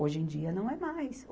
Hoje em dia não é mais.